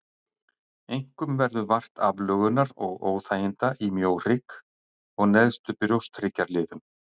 Einkum verður vart aflögunar og óþæginda í mjóhrygg og neðstu brjósthryggjarliðum.